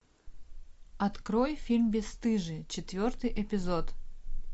открой фильм бесстыжие четвертый эпизод